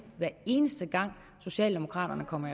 hver eneste gang socialdemokraterne kommer